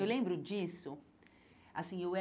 Eu lembro disso assim eu